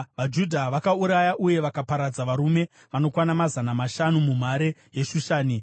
VaJudha vakauraya uye vakaparadza varume vanokwana mazana mashanu munhare yeShushani.